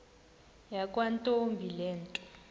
yakwantombi le nto